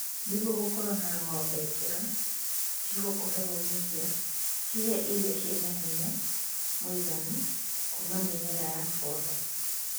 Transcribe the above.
Nĩguo gũkorwo na ng'ombe njega cigũkũhe umithio, cihe irio ciĩna hinya mũiganu kuma mĩmera ya foda